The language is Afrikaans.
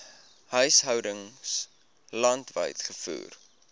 huishoudings landwyd gevoer